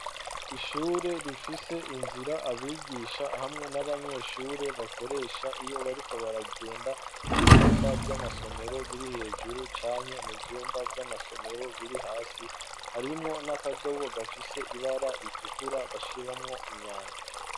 Ishure rifise inzira abigisha hamwe n'abanyeshure bakoresha iyo bariko baragenda mu vyumba vy'amasomero biri hejuru canke mu vyumba vy'amasomero biri hasi harimwo n'akadobo gafise ibara ritukura bashiramwo imyanda.